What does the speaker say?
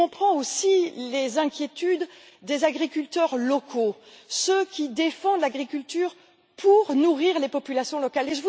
Je comprends aussi les inquiétudes des agriculteurs locaux, ceux qui défendent l'agriculture pour nourrir les populations locales.